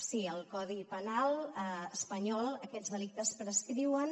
sí al codi penal espanyol aquests delictes prescriuen